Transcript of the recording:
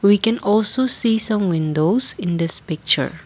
we can also see some windows in this picture.